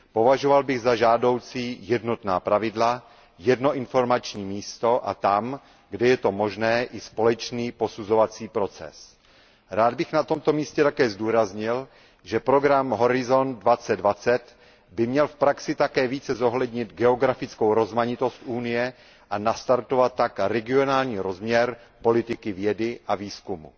Považoval bych za žádoucí jednotná pravidla, jedno informační místo a tam, kde je to možné, i společný posuzovací proces. Rád bych na tomto místě také zdůraznil, že program Horizont 2020 by měl v praxi také více zohlednit geografickou rozmanitost Evropské unie a nastartovat tak regionální rozměr politiky vědy a výzkumu.